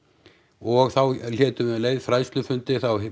og þá héldum við um leið fræðsæufundi þá